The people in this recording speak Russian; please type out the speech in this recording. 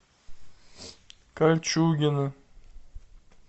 кольчугино